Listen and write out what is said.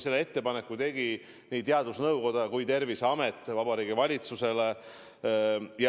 Selle ettepaneku tegid Vabariigi Valitsusele nii teadusnõukoda kui ka Terviseamet.